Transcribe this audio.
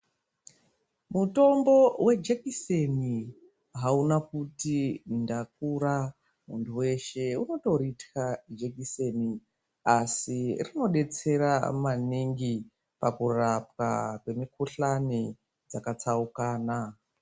Mutombo wejekiseni hauna kuti ndakura. Muntu weshe unotorithya jekiseni, asi rinotodetsera maningi, pakurapwa kwemikhuhlani dzakatsaukana.